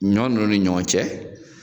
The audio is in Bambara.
Ɲɔ n'olu ɲɔgɔn cɛ.